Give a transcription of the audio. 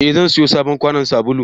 eh zan saya sabon kwanon sabulu